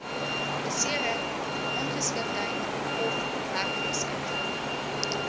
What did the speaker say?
besering ongeskiktheid ofwerkloosheid